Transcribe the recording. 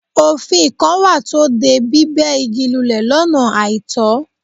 Òfin kan wà tó de bíbẹ̀ igi lulẹ̀ lọ́nà àìtọ́.